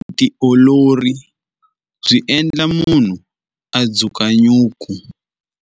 Vutiolori byi endla munhu a dzukanyuku.